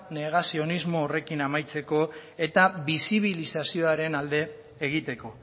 negazioanismo horrekin amaitzeko eta bisibilizazioren alde egiteko